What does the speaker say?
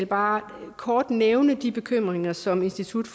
bare kort nævne de bekymringer som institut